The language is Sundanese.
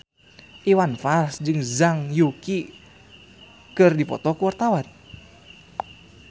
Iwan Fals jeung Zhang Yuqi keur dipoto ku wartawan